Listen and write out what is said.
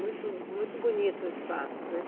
Muito, muito bonito o espaço, né?